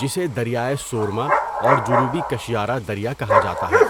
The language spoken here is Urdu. جسے دریائے سورما اور جنوبی کشیارا دریا کہا جاتا ہے۔